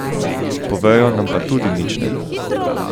Povejo nam pa tudi nič ne.